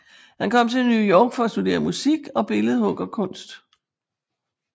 Han kom til New York for at studere musik og billedhuggerkunst